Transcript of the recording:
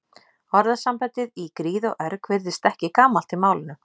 Orðasambandið í gríð og erg virðist ekki gamalt í málinu.